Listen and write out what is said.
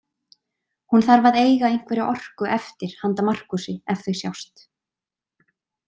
Hún þarf að eiga einhverja orku eftir handa Markúsi ef þau sjást.